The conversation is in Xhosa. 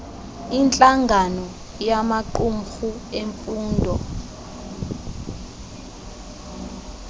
intlangano yamaqumrhu emfundo